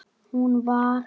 Hún var fimmtug að aldri.